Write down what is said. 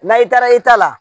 N'a i taara i ta la